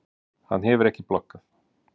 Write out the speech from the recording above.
Hann hefur ekki bloggað?